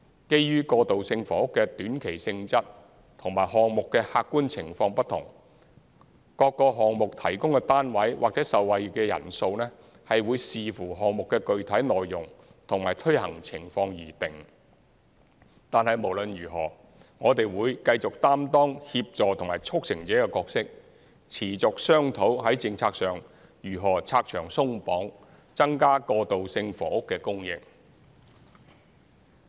基於過渡性房屋的短期性質和項目的客觀情況不同，各個項目提供的單位或受惠的人數，會視乎項目的具體內容和推行情況而定，但無論如何，我們會繼續擔當協助和促成者的角色，持續商討在政策上如何拆牆鬆綁，增加過渡性房屋的供應。